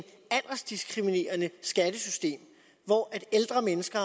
aldersdiskriminerende skattesystem hvor ældre mennesker